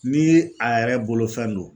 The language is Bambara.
Ni a yɛrɛ bolofɛn do